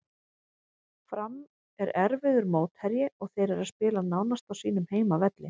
Fram er erfiður mótherji og þeir eru að spila nánast á sínum heimavelli.